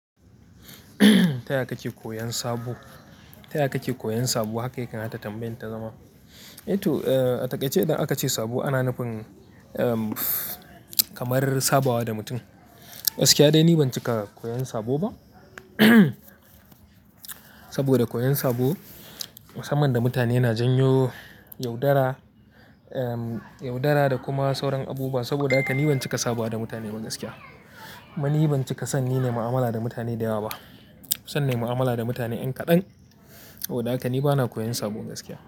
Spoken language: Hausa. Ta ya kake koyan sabo? Ta yaya kake koyan sabo haka ya kamata tambayan ta zama? To, a takaice idan aka ce sabo ana nufin, um, kamar sabawa da mutum. Gaskiya dai ni ban cika koyan sabo ba. Saboda koyan sabo, samanda mutane na janyo yaudara, um, yaudara da kuma sauran abubuwa. Saboda haka ni ban cika sabawa da mutane ba gaskiya. Kuma ni ban cika san yin mu'amala da mutane da yawa ba. Nafison nai mu'amala da mutane yan kaɗan. Saboda haka ni bana koyan sabo gaskiya.